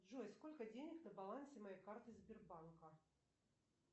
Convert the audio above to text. джой сколько денег на балансе моей карты сбербанка